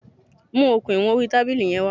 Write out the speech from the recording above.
Mu okùn ìwọn orí tábìlì yẹn wá.